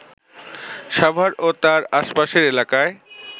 সাভার ও তার আশপাশের এলাকায়